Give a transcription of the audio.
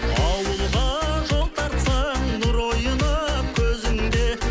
ауылға жол тартсаң нұр ойнап көзіңде